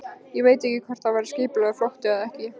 Ég veit ekkert hvort það var skipulagður flótti eða ekki.